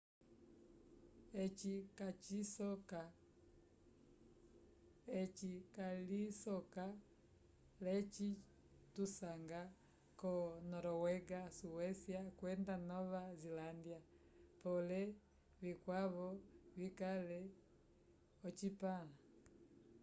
eci calisoka l'eci tusanga ko noruega suécia kwenda nova zelândia pole vikwavo vikale ocipãla